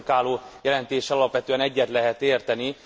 Az előttünk álló jelentéssel alapvetően egyet lehet érteni.